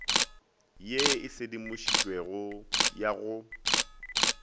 ye e sedimošitšwego ya go